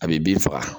A bɛ bin faga